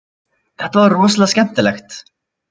Þetta var rosalega skemmtilegt